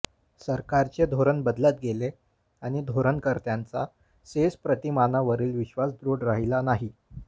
सरकारचे धोरण बदलत गेले आणि धोरणकर्त्यांचा सेझ प्रतिमानावरील विश्वास दृढ राहिला नाही